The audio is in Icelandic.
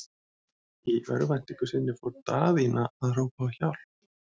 Í örvæntingu sinni fór Daðína að hrópa á hjálp.